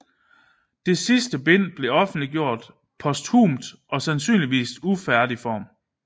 Det sidste bind blev offentliggjort posthumt og sandsynligvis i ufærdig form